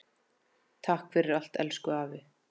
Takk fyrir allt, elsku afi.